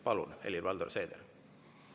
Palun, Helir-Valdor Seeder!